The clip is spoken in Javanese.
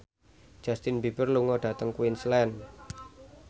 Justin Beiber lunga dhateng Queensland